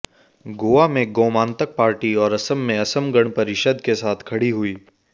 गोवा में गोमांतक पार्टी और असम में असम गण परिषद के साथ खड़ी हुई